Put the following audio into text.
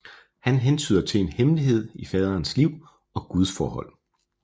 Han hentyder til en hemmelighed i faderens liv og gudsforhold